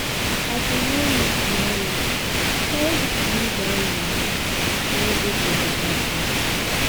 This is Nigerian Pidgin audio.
As we no know tomorrow, carry dis moni buy land wey dey for beta place.